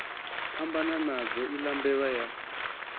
phambana nadzo iḽa mbevha ya